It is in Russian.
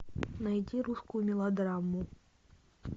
найди русскую мелодраму